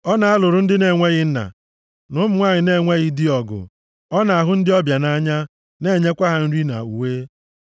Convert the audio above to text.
Ọ na-alụrụ ndị na-enweghị nna, na ụmụ nwanyị na-enweghị di ọgụ. Ọ na-ahụ ndị ọbịa nʼanya, na-enyekwa ha nri na uwe.